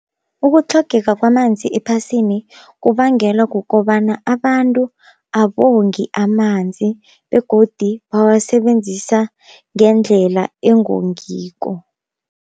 Ukutlhogeka kwamanzi ephasini kubangelwa kukobana abantu abongi amanzi, begodi bawasebenzisa ngendlela engongiko.